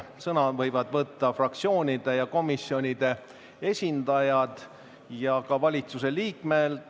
Sõna võivad võtta fraktsioonide ja komisjonide esindajad ja ka valitsuse liikmed.